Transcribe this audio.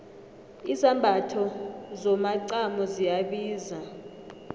izambatho zomacamo ziyabiza